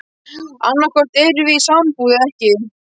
Annaðhvort erum við í sambúð eða ekki.